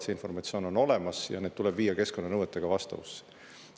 See informatsioon on olemas ja need tuleb viia keskkonnanõuetega vastavusse.